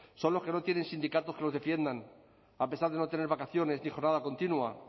son los que no tienen sindicatos que los defiendan a pesar de no tener vacaciones ni jornada continua